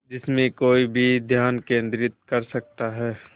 जिसमें कोई भी ध्यान केंद्रित कर सकता है